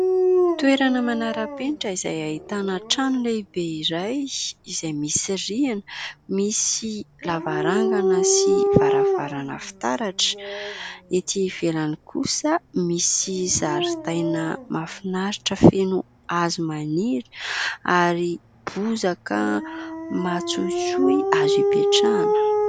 Toerana manara-penitra izay ahitana trano lehibe iray, izay misy rihana, misy lavarangana sy varavarana fitaratra. Ety ivelany kosa misy zaridaina mahafinaritra feno hazo maniry ary bozaka matsohitsohy azo ipetrahana.